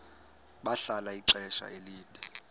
bahlala ixesha elide